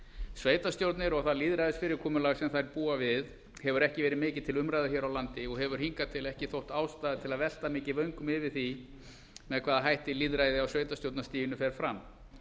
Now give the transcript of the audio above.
sveitarstjórnir og það lýðræðisfyrirkomulag sem þær búa við hefur ekki verið mikið til umræðu hér á landi og hefur hingað til ekki þótt ástæða til að velta mikið vöngum yfir því með hvaða hætti lýðræði á sveitarstjórnarstiginu fer fram